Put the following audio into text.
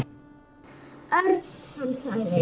Örn. Hann sagði.